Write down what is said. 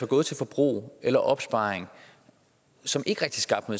gå til forbrug eller opsparing som ikke rigtigt skaber